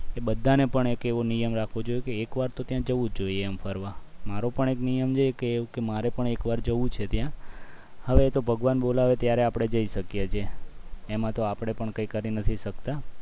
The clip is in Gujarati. એ બધાને એવો નિયમ રાખવો જોઈએ કે એકવાર તો ત્યાં જવું જ જોઈએ ફરવા મારો પણ એક નિયમ છે કે મારે પણ એકવાર જવું છે ત્યાં હવે તો ભગવાન બોલાવે ત્યારે આપણે જઈ શકીએ છે એમાં તો આપણે પણ કઈ કરી નથી શકતા